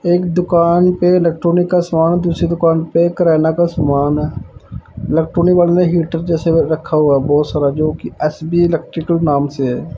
एक दुकान पे इलेक्ट्रॉनिक का सामान दूसरी दुकान पे किराना का समान है इलेक्ट्रॉनिक वाले ने हीटर जैसे रखा हुआ बहोत सारा जोकि एस_बी इलेक्ट्रिकल नाम से है।